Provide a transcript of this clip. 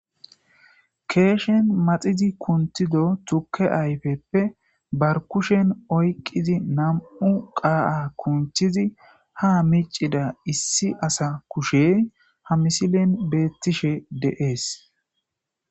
Keshshen maxxidi kunththido tuuke ayffepe be kushshen oyqqidi nam'u qa'a kunththidi ha miccida issi asa kushshey ha missilen bettishe de'es.